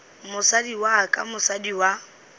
mosadi wa ka mosadi wa